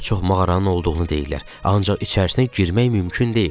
Daha çox mağaranın olduğunu deyirlər, ancaq içərisinə girmək mümkün deyil.